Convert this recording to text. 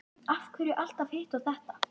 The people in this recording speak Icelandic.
Af hverju alltaf hitt og þetta?